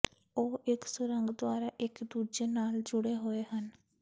ਉਹ ਇੱਕ ਸੁਰੰਗ ਦੁਆਰਾ ਇਕ ਦੂਜੇ ਨਾਲ ਜੁੜੇ ਹੋਏ ਹਨ